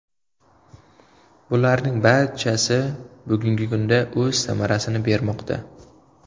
Bularning barchasi bugungi kunda o‘z samarasini bermoqda.